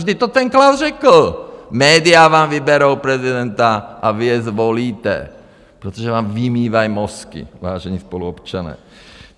Vždyť to ten Klaus řekl: Média vám vyberou prezidenta a vy je zvolíte, protože vám vymývají mozky, vážení spoluobčané.